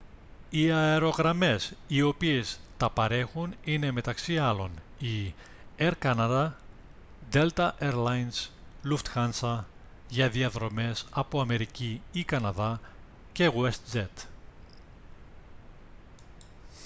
οι αερογραμμές οι οποίες τα παρέχουν είναι μεταξύ άλλων οι air canada delta air lines lufthansa για διαδρομές από αμερική ή καναδά και westjet